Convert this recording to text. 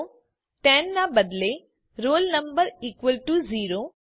તો ટેન ના બદલે roll number equal to zero